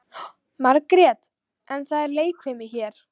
Margrét: En það er leikfimi hér.